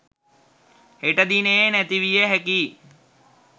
හෙට දිනයේ නැති විය හැකියි